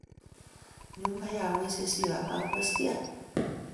nyumba ya wezi sio hapa umeskia?